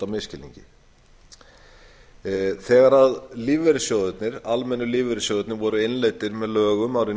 misskilningi þegar almennu lífeyrissjóðirnir voru innleiddir með lögum árið nítján